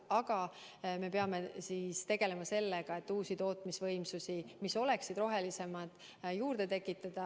Aga me peame tegelema sellega, et uusi tootmisvõimsusi, mis oleksid rohelisemad, juurde tekitada.